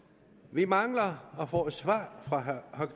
vi mangler at få et svar fra herre